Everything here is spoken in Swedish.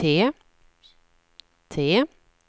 T